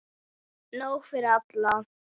Nóg fyrir alla!